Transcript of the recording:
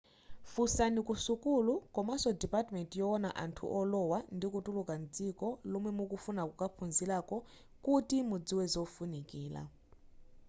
funsani ku sukulu komanso dipatimenti yowona anthu olowa ndi kutuluka mdziko lomwe mukufuna kukaphunzirako kuti mudziwe zofunikira